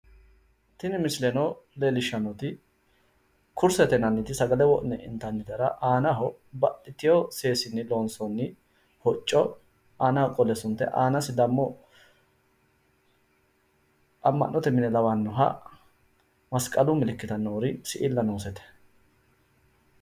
Tini misileno leellishshanonkeri kursete yinanniti sagale wodhine intaniti aanaho baxxitewo seesinni loonsoonniti hocco aanaho qolle suntoonniti aanaho degimo amma'note mine lawannoha masqalu milikiti siilla noosete.